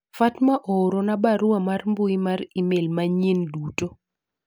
Fatma oorona barua mar mbui mar email manyied duto